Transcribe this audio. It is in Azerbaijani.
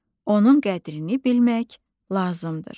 Onun qədrini bilmək lazımdır.